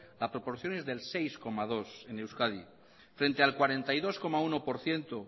la proporción es del seis coma dos en euskadi frente al cuarenta y dos coma uno por ciento